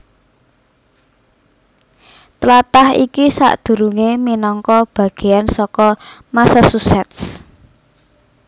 Tlatah iki sadurungé minangka bagéyan saka Massachusetts